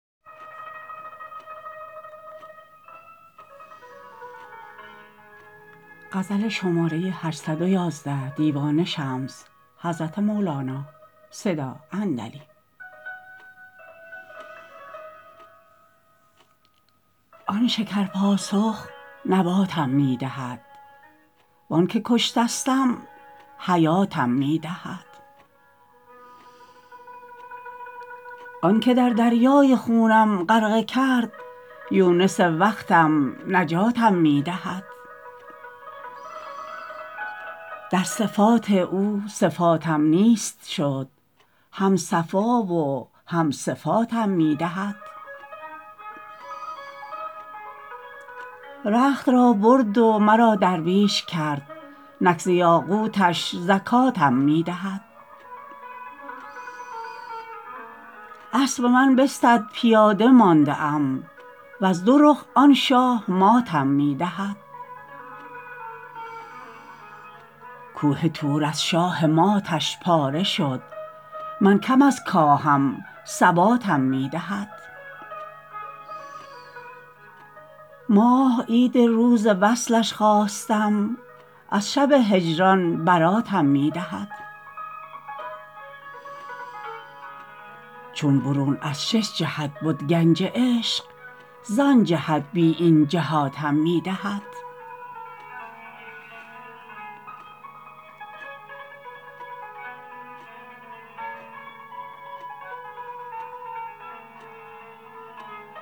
آن شکرپاسخ نباتم می دهد و آنک کشتستم حیاتم می دهد آن که در دریای خونم غرقه کرد یونس وقتم نجاتم می دهد در صفات او صفاتم نیست شد هم صفا و هم صفاتم می دهد رخت را برد و مرا درویش کرد نک ز یاقوتش زکاتم می دهد اسب من بستد پیاده مانده ام وز دو رخ آن شاه ماتم می دهد کوه طور از شاهماتش پاره شد من کم از کاهم ثباتم می دهد ماه عید روز وصلش خواستم از شب هجران براتم می دهد چون برون از شش جهت بد گنج عشق زآن جهت بی این جهاتم می دهد